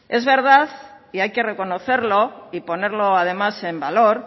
es verdad y hay que reconocerlo y ponerlo además en valor